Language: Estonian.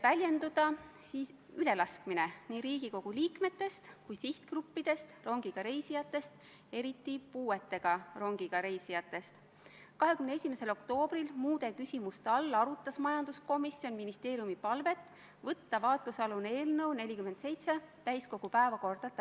Riigikaitsekomisjon arutas seda eelnõu samadel kuupäevadel nagu eelmisi sarnaseid eelnõusid ja tegi 21. oktoobril eelnõus kaks väiksemat keelelist täpsustust, millega muudeti selguse huvides sõnade järjekorda ja ühe sõna käändelõppu.